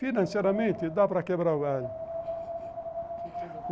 Financeiramente, dá para quebrar o galho